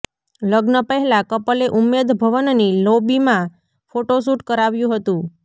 લગ્ન પહેલા કપલે ઉમ્મેદ ભવનની લોબીમાં ફોટોશૂટ કરાવ્યું હતું